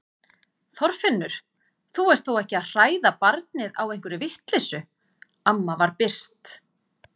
Þorfinnur, þú ert þó ekki að hræða barnið á einhverri vitleysu amma var byrst.